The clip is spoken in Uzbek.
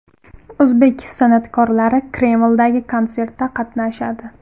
O‘zbek san’atkorlari Kremldagi konsertda qatnashadi.